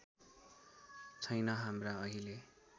छैन हाम्रा अहिले